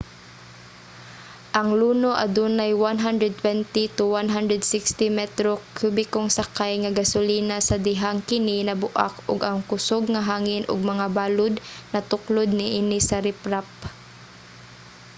ang luno adunay 120-160 metro kubikong sakay nga gasolina sa dihang kini nabuak ug ang kusog nga hangin ug mga balud natuklod niini sa riprap